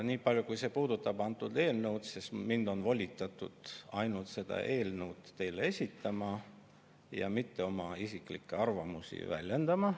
Nii palju kui puudutab antud eelnõu, siis mind on volitatud ainult seda eelnõu teile esitama ja mitte oma isiklikke arvamusi väljendama.